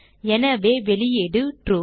எனவே வெளியீடு ட்ரூ